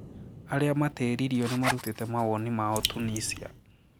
Aria matiriirio nimarutite mawoni mao, Tunisia